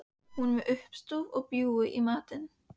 Hún er með uppstúf og bjúgu í matinn.